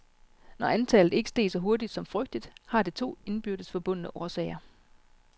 Når antallet ikke steg så hurtigt, som frygtet, har det to indbyrdes forbundne årsager.